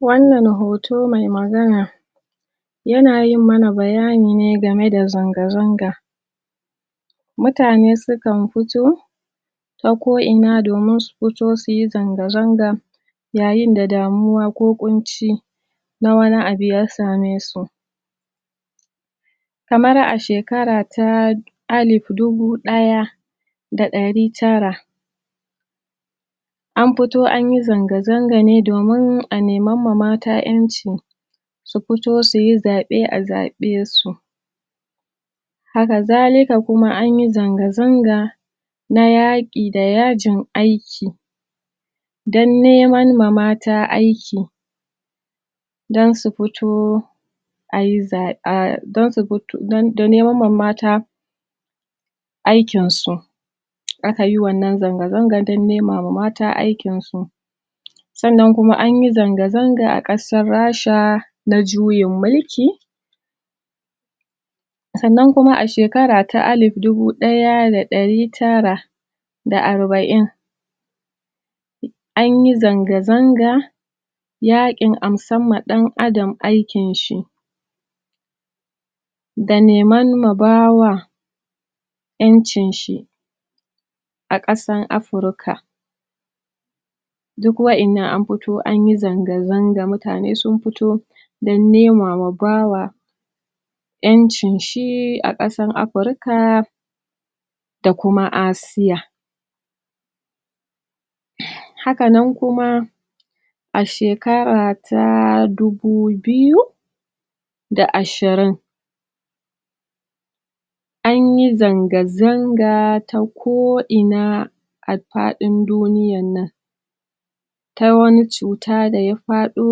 Wannan hoto me magana yana yin mana bayani ne game da zanga-zanga mutane su kan fito ta ko'ina domin su fito su yi zanga-zanga yayin da damuwa ko ƙunci na wani abu ya same su kamar a shekara ta alif dubu ɗaya da ɗari tara an fito an yi zanga-zanga ne domin a neman ma mata ƴanci su fito su yi zaɓe a zaɓe su haka zalika kuma an yi zanga-zanga na yaƙi da yajin aiki dan neman ma mata aiki dan su fito dan neman ma mata aikin su aka yi wannan zanga-zangan dan nema ma mata aikin su sannan kuma an yi zanga-zanga a ƙasar Rasha na juyin mulki sannan kuma a shekara ta alif dubu ɗaya da ɗari tara da arba'in an yi zanga-zanga yaƙin amsan ma ɗan'adam aikin shi da neman ma bawa ƴancin shi a ƙasan Afrika duk waƴannan an fito an yi zanga-zanga, mutane sun fito dan nema ma bawa ƴancin shi a ƙasan Afrika da kuma Asiya haka nan kuma a shekara ta dubu biyu da ashirin an yi zanga-zanga ta ko'ina a faɗin duniyan nan ta wani cuta da ya faɗo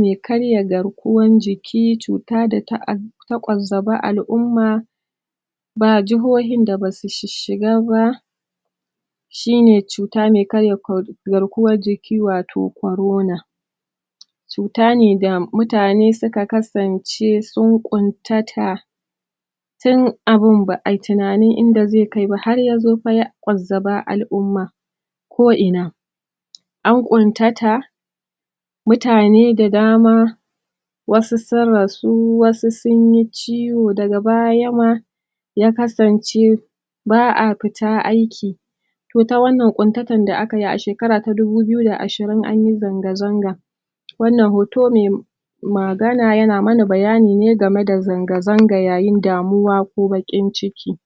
me karya garkuwan jiki, cuta da ta ad ta ƙwazzaba al'umma ba jihohin da basu shishiga ba shi ne cuta me karya garkuwan jiki wato corona cuta ne da mutane suka kasance sun ƙuntata tun abin ba'ai tunanin inda zai kai ba har yazo fa ya ƙwazzaba al'umma ko'ina an ƙuntata mutane da dama wasu sun rasu, wasu sun yi ciwo daga baya ma ya kasance ba'a fita aiki to ta wannan ƙuntatan da aka yi a shekara ta dubu biyu da ashirin an yi zanga-zanga wannan hoto me magana yana mana bayani ne game da zanga-zanga yayin damuwa ko baƙin ciki.